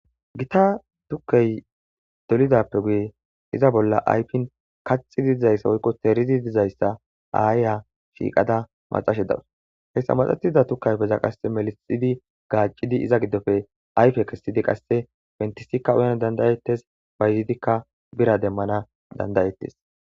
gita tukkey dolidappe guye iza bolla aypin kaxidi dizayssa woykko terizi dizayssa aayya shiiqada maxashe dawus heyssa maxatida tukkaypeza qasse melixidi gaacidi iza giddofe ayfe kessidi qasse fentisikka uyan dandayettes bayzidikka bira demmana dandayettes